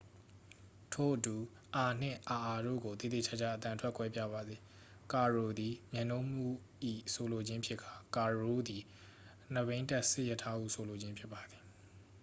ထို့အတူ အာ နှင့် အာအာတို့ကို သေသေချာချာ အသံထွက်ကွဲပြားပါစေ ကာရို' သည် မြတ်နိုးမှုဟု ဆိုလိုခြင်းဖြစ်ကာ ကာရိုး' သည် နှစ်ဘီးတပ်စစ်ရထားဟု ဆိုလိုခြင်းဖြစ်ပါသည်